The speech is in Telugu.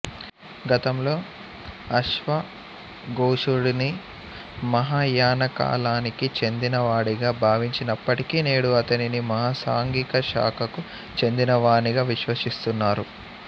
గతంలో అశ్వఘోషుడిని మహాయానకాలానికి చెందినవాడిగా భావించినప్పటికీ నేడు అతనిని మహాసాంఘిక శాఖకు చెందినవానిగా విశ్వసిస్తున్నారు